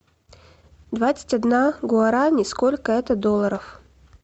двадцать одна гуарани сколько это долларов